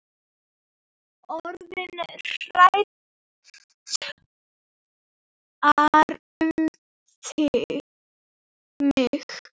Orðnar hræddar um mig.